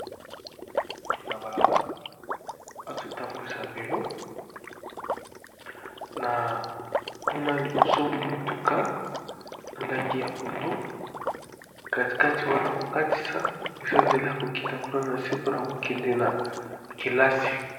Motu na balabala azotambwisa velo na kuna liboso mutuka na langi ya pondu, katikati wana kokatisa eza nzela kokita kuna na se mpona kokende na kelasi.